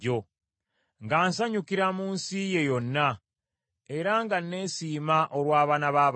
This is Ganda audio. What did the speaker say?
nga nsanyukira mu nsi ye yonna, era nga ne nesiima olw’abaana b’abantu.